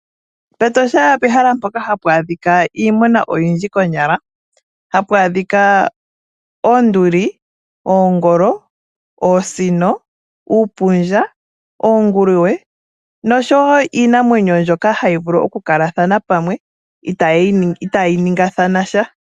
PEtosha ope hala mpoka hapu adhika iimuna oyindji konyala. Hapu adhika oonduli, oongolo, oonsino, uupundja, oonguluwe, nosho woo iinamwenyo mbyoka hayi vulu oku kalathana pamwe itaayi ningathana sha.